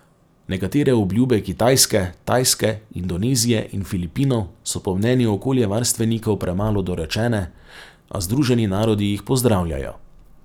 Nekatere obljube Kitajske, Tajske, Indonezije in Filipinov so po mnenju okoljevarstvenikov premalo dorečene, a Združeni narodi jih pozdravljajo.